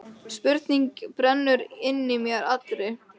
Spurning brennur inn í mér allri.